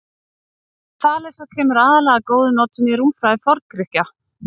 Regla Þalesar kemur aðallega að góðum notum í rúmfræði Forngrikkja.